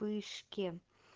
пышки